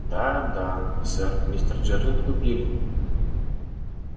да да сэр мистер джералд купили